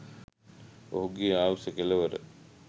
මොහුගේ ආයුෂ කෙලවර